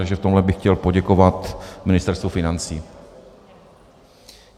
Takže v tomhle bych chtěl poděkovat Ministerstvu financí.